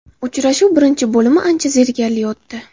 Uchrashuv birinchi bo‘limi ancha zerikarli o‘tdi.